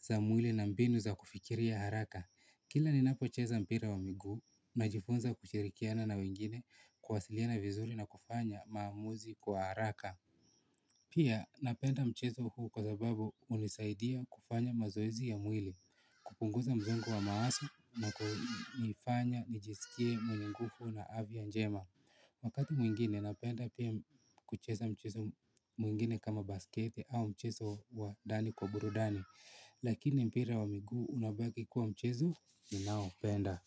za mwili na mbinu za kufikiria haraka. Kila ninapocheza mpira wa miguu najifunza kushirikiana na wengine kwasiliana vizuri na kufanya maamuzi kwa haraka. Pia napenda mchezo huu kwa sababu hunisaidia kufanya mazoezi ya mwili. Kupunguza msongo wa mawazo na kufanya nijisikie mwenye nguvu na afya njema. Wakati mwingine napenda pia kucheza mchezo mwingine kama basketi au mchezo wa ndani kwa burudani. Lakini mpira wa migu unabaki kuwa mchezo ninaopenda.